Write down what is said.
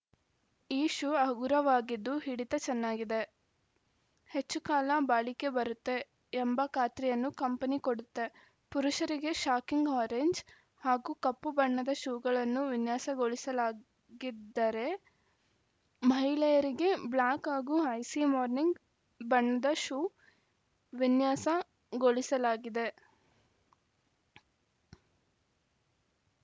ಈ ಶೂ ಹಗುರವಾಗಿದ್ದು ಹಿಡಿತ ಚೆನ್ನಾಗಿದೆ ಹೆಚ್ಚು ಕಾಲ ಬಾಳಿಕೆ ಬರುತ್ತೆ ಎಂಬ ಖಾತ್ರಿಯನ್ನು ಕಂಪೆನಿ ಕೊಡುತ್ತೆ ಪುರುಷರಿಗೆ ಶಾಕಿಂಗ್‌ ಆರೆಂಜ್‌ ಹಾಗೂ ಕಪ್ಪು ಬಣ್ಣದ ಶೂಗಳನ್ನು ವಿನ್ಯಾಸಗೊಳಿಸಲಾಗಿದ್ದರೆ ಮಹಿಳೆಯರಿಗೆ ಬ್ಲ್ಯಾಕ್‌ ಹಾಗೂ ಐಸೀ ಮಾರ್ನಿಂಗ್‌ ಬಣ್ಣದ ಶೂ ವಿನ್ಯಾಸಗೊಳಿಸಲಾಗಿದೆ